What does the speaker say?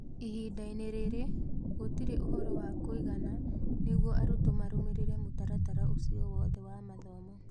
Ihinda-inĩ rĩrĩ, gũtirĩ ũhoro wa kũigana nĩguo arutwo marũmĩrĩre mũtaratara ũcio wothe wa mathomo.